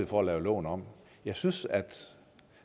for at lave loven om jeg synes at